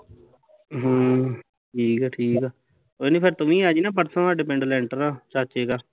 ਹਮ ਠੀਕ ਆ ਕੋਈ ਨਾ ਫਿਰ ਤੂੰ ਵੀ ਆਜੀ ਪਰਸੋਂ ਸਾਡੇ ਪਿੰਡ ਲੈਟਰ ਆ, ਚਾਚੇ ਕਾ